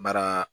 Baara